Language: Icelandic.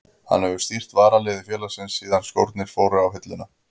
Hann hefur stýrt varaliði félagsins síðan skórnir fóru á hilluna.